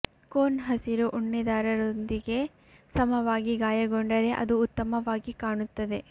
cone ಹಸಿರು ಉಣ್ಣೆ ದಾರದೊಂದಿಗೆ ಸಮವಾಗಿ ಗಾಯಗೊಂಡರೆ ಅದು ಉತ್ತಮವಾಗಿ ಕಾಣುತ್ತದೆ